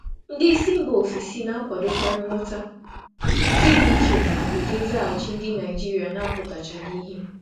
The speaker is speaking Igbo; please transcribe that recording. Ndị oga si mba ọzọ na-akwadokarị nghọta, nke dị iche na ụdị nzaghachi Naịjirịa na-abụghị ozugbo.